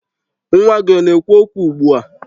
Nwa gị ọ na-ekwu okwu ugbua?